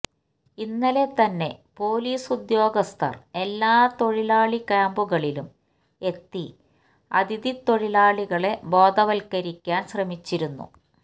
ഇന്നലെ തന്നെ പൊലീസുദ്യോഗസ്ഥർ എല്ലാ തൊഴിലാളി ക്യാംപുകളിലും എത്തി അതിഥി തൊഴിലാളികളെ ബോധവത്കരിക്കാൻ ശ്രമിച്ചിരുന്നു